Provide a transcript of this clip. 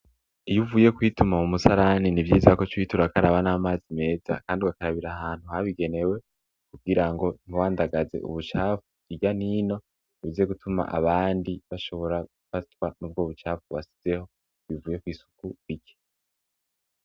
Iyo uvuye kwituma mu musarani nivyiza ko uca uhita urakaraba n'amazi meza kandi ugabakabira ahantu habigenewe kugirango ntiwandagaze ubucafu irya n' ino, bize gutuma abandi bashobora gufatwa n'ubwo bucafu wasizeho bivuye kw'isuku rike.